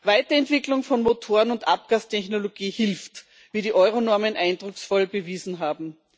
Weiterentwicklung von Motoren und Abgastechnologie hilft, wie die Euro Normen eindrucksvoll bewiesen haben.